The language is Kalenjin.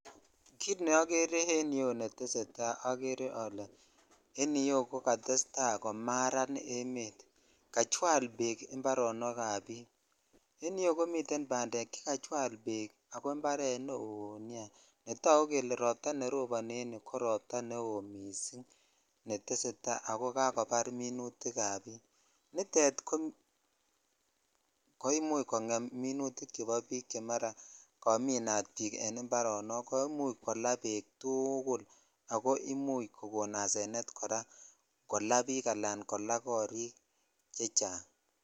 Kit neogere en iyeu netesetai ko ogere ole en iyeu komaran emet kachwal bek imparonok ab bik en you komiten bandek chekachwal bek ako imparet neo nia netokuk kele ropta neroboni en yuu ko ropta neo missing netesetai ako kakobar minutik ab bik nitet (puse) koimuch kongen mi utik chebo bik che mara komin bik en ibarenik koimuch kolaa bek tugukul ako imuch kokon asenet koraa kolaa bik ala kolaa korik chechang.